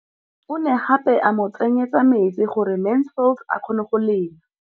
O ne gape a mo tsenyetsa metsi gore Mansfield a kgone go lema.